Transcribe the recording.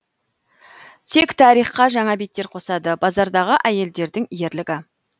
тек тарихқа жаңа беттер қосады базардағы әйелдердің ерлігі